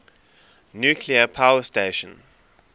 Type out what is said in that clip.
nuclear power station